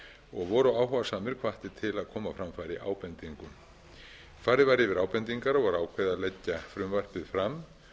og voru áhugasamir hvattir til að koma á framfæri ábendingum farið var yfir ábendingar og var ákveðið að leggja frumvarpið fram